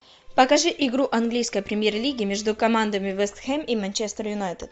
покажи игру английской премьер лиги между командами вест хэм и манчестер юнайтед